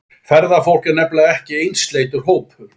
Ferðafólk er nefnilega ekki einsleitur hópur.